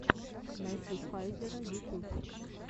найти файзера ютюб